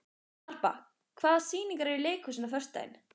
Harpa, hvaða sýningar eru í leikhúsinu á föstudaginn?